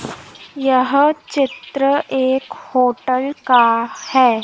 यह चित्र एक होटल का है।